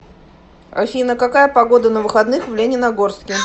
афина какая погода на выходных в лениногорске